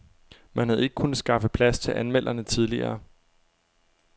Man havde ikke kunnet skaffe plads til anmelderne tidligere.